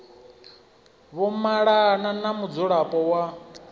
vho malana na mudzulapo wa